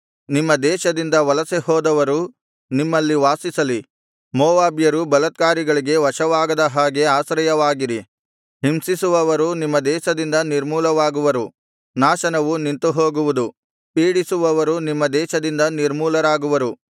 ನಿಮ್ಮ ದೇಶದಿಂದ ವಲಸೆಹೋದವರು ನಿಮ್ಮಲ್ಲಿ ವಾಸಿಸಲಿ ಮೋವಾಬ್ಯರು ಬಲತ್ಕಾರಿಗಳಿಗೆ ವಶವಾಗದ ಹಾಗೆ ಆಶ್ರಯವಾಗಿರಿ ಹಿಂಸಿಸುವವರು ನಿಮ್ಮ ದೇಶದಿಂದ ನಿರ್ಮುಲವಾಗುವರು ನಾಶನವು ನಿಂತುಹೋಗುವುದು ಪೀಡಿಸುವವರು ನಿಮ್ಮ ದೇಶದಿಂದ ನಿರ್ಮೂಲರಾಗುವರು